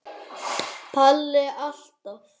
Palli alltaf.